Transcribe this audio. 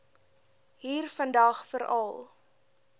hier vandag veral